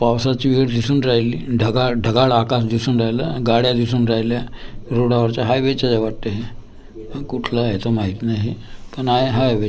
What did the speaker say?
पावसाची वेळ दिसून राहिली ढगाळ ढगाळ आकाश दिसून राहिलं गाड्या दिसून राहिल्या रोडा वरच्या हायवे च्या वाटतं हे हा कुठला आहे तो माहित नाही पण आहे हायवे --